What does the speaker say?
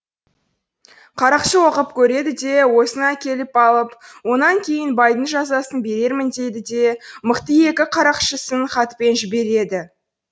қарақшы оқып көреді де осыны әкеліп алып онан кейін байдың жазасын берермін дейді де мықты екі қарақшысын хатпен жібереді